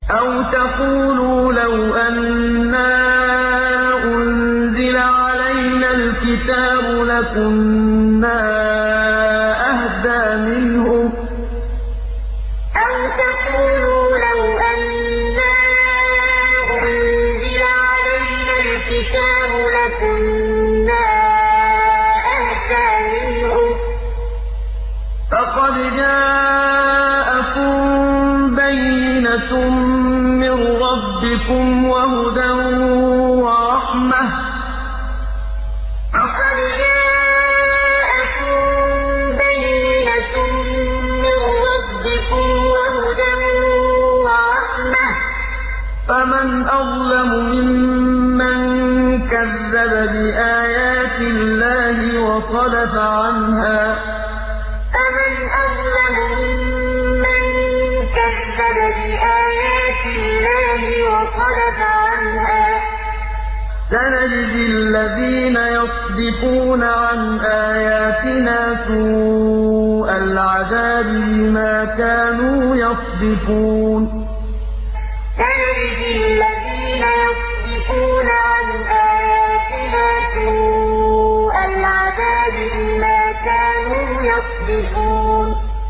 أَوْ تَقُولُوا لَوْ أَنَّا أُنزِلَ عَلَيْنَا الْكِتَابُ لَكُنَّا أَهْدَىٰ مِنْهُمْ ۚ فَقَدْ جَاءَكُم بَيِّنَةٌ مِّن رَّبِّكُمْ وَهُدًى وَرَحْمَةٌ ۚ فَمَنْ أَظْلَمُ مِمَّن كَذَّبَ بِآيَاتِ اللَّهِ وَصَدَفَ عَنْهَا ۗ سَنَجْزِي الَّذِينَ يَصْدِفُونَ عَنْ آيَاتِنَا سُوءَ الْعَذَابِ بِمَا كَانُوا يَصْدِفُونَ أَوْ تَقُولُوا لَوْ أَنَّا أُنزِلَ عَلَيْنَا الْكِتَابُ لَكُنَّا أَهْدَىٰ مِنْهُمْ ۚ فَقَدْ جَاءَكُم بَيِّنَةٌ مِّن رَّبِّكُمْ وَهُدًى وَرَحْمَةٌ ۚ فَمَنْ أَظْلَمُ مِمَّن كَذَّبَ بِآيَاتِ اللَّهِ وَصَدَفَ عَنْهَا ۗ سَنَجْزِي الَّذِينَ يَصْدِفُونَ عَنْ آيَاتِنَا سُوءَ الْعَذَابِ بِمَا كَانُوا يَصْدِفُونَ